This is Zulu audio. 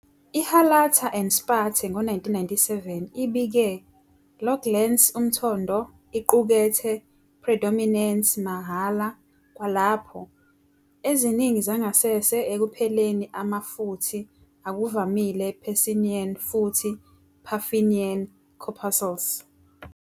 IHalata and Spathe ngo-1997, ibike, "lo glans umthondo iqukethe predominance mahhala kwalapho, eziningi zangasese ekupheleni ama futhi akuvamile Pacinian futhi Ruffinian corpuscles.